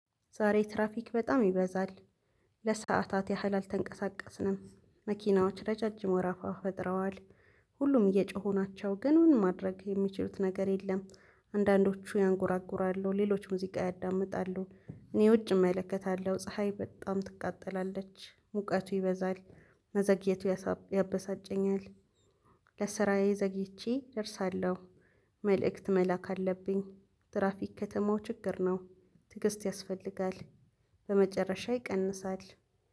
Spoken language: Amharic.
ዛሬ ትራፊክ በጣም ይበዛል። ለሰአታት ያህል አልተንቀሳቀስንም መኪናዎች ረጫጅም ወረፋ ፈጥረዋል። ሁሉም እየጮሁ ናቸው ግን ምን ማድረግ የሚችሉት ነገር የለም። አንዳንዶቹ ያንጎራጉራሉ ሌሎች ሙዚቃ ያዳምጣሉ። እኔ ውጭ እመለከታለሁ ፀሀይ በጣም ትቃጠላለች ሙቀቱ ይበዛል። መዘግየቱ ያበሳጨኛል። ለስራዬ ዘግይቼ እደርሳለሁ። መልእክት መላክ አለብኝ። ትራፊክ ከተማው ችግር ነው። ትግስት ያስፈልጋል። በመጨረሻ ይቀንሳል።